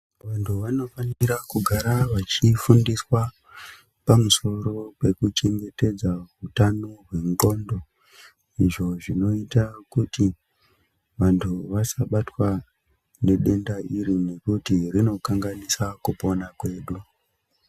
Vantu vanofanira kugara vachifundiswa pamusoro pekuchengetedza hutano hwendxondo. Izvo zvinoita kuti vantu vasabatwa nedenda iri nekuti rinokanganisa kupona kwedu.